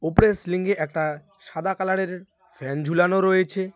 ওপরের সিলিংয়ে একটা সাদা কালারের ফ্যান ঝুলানো রয়েছে।